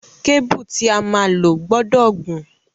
Kébùù tí a máa lò gbọdọ̀ gùn.